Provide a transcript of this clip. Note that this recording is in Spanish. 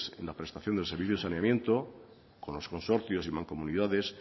en la prestación del servicio de saneamiento con los consorcios y mancomunidades